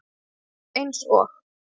Þú ert eins og